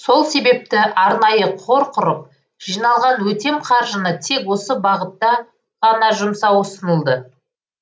сол себепті арнайы қор құрып жиналған өтем қаржыны тек осы бағытта ғана жұмсау ұсынылды